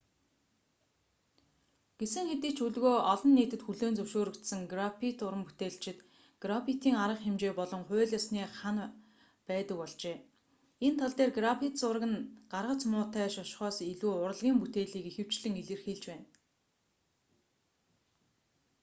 гэсэн хэдий ч өдгөө олон нийтэд хүлээн зөвшөөрөгдсөн граффит уран бүтээлчид граффитийн арга хэмжээ болон хууль ёсны хана байдаг болжээ энэ тал дээр граффит зураг нь гаргац муутай шошгоос илүү урлагийн бүтээлийг ихэвчлэн илэрхийлж байна